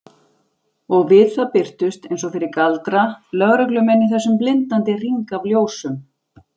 Og við það birtust, eins og fyrir galdra, lögreglumenn í þessum blindandi hring af ljósum.